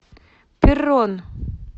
перрон